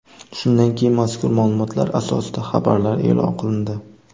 Shundan keyin mazkur ma’lumotlar asosida xabarlar e’lon qilindi.